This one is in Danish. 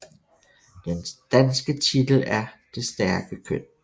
Den danske titel er Det stærke køn